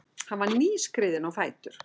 Hann var nýskriðinn á fætur.